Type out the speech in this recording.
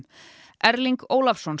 Erling Ólafsson